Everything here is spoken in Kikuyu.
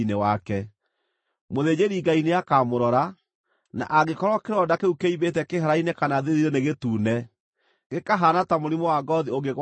Mũthĩnjĩri-Ngai nĩakamũrora, na angĩkorwo kĩronda kĩu kĩimbĩte kĩhara-inĩ kana thiithi-inĩ nĩ gĩtune gĩkahaana ta mũrimũ wa ngoothi ũngĩgwatanio-rĩ,